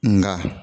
Nka